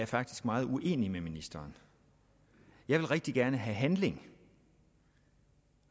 faktisk meget uenig med ministeren jeg vil rigtig gerne have handling